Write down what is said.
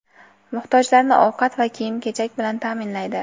Muhtojlarni ovqat va kiyim kechak bilan ta’minlaydi.